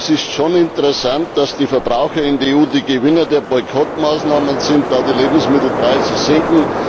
Es ist schon interessant, dass die Verbraucher in der EU die Gewinner der Boykottmaßnahmen sind, da die Lebensmittelpreise sinken.